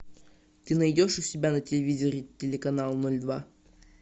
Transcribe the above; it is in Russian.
ты найдешь у себя на телевизоре телеканал ноль два